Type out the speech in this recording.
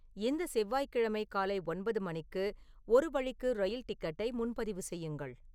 இந்த செவ்வாய்கிழமை காலை ஒன்பது மணிக்கு ஒரு வழிக்கு ரயில் டிக்கெட்டை முன்பதிவு செய்யுங்கள்